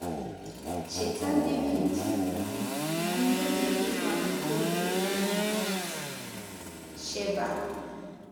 Cheta Devid um na mmehie ịkwa iko nke ya na Bat - sheba.